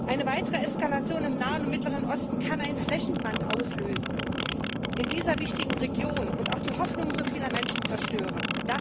Eine weitere Eskalation im Nahen und Mittleren Osten kann in dieser wichtigen Region einen Flächenbrand auslösen und auch die Hoffnung so vieler Menschen zerstören.